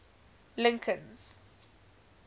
lincoln's